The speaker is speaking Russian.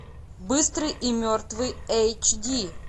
быстрый и мертвый эйч ди